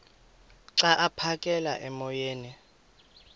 xa aphekela emoyeni